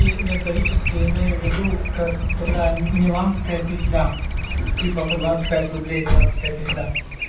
и металлические я имею в виду как такая миланская петля типа по двадцать пять рублей миланская петля